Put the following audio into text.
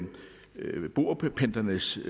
indledningsvis